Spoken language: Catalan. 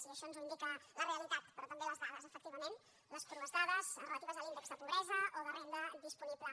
i això ens ho indica la realitat però també les dades efectivament les crues dades relatives a l’índex de pobresa o de renda disponible